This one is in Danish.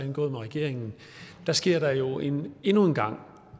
indgået med regeringen sker der jo endnu endnu en gang